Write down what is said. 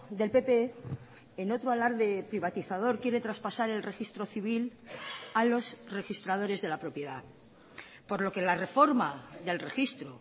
del pp en otro alarde privatizador quiere traspasar el registro civil a los registradores de la propiedad por lo que la reforma del registro